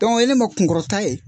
o ye ne ma kunkɔrɔta ye.